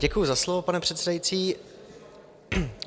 Děkuji za slovo, pane předsedající.